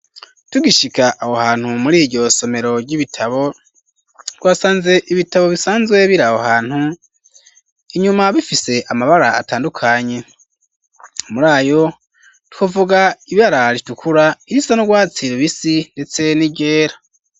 Tugishika aho hantu muriryo somero ry'ibitabo twasanze ibitabo bisanzwe biri aho hantu inyuma bifise amabara atandukanye murayo twovuga ibara ritukura irisa n'urwatsi rubisi ndetse n'iryera.